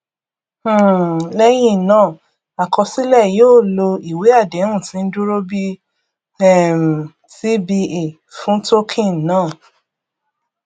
um lẹyìn náà àkọsílẹ yóò lo ìwé àdéhùn tí ń dúró bí um tba fún token náà